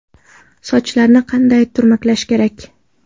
Sochlarni qanday turmaklash kerak?